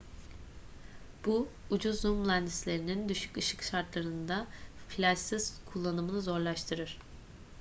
bu ucuz zoom lenslerinin düşük ışık şartlarında flaşsız kullanımını zorlaştırır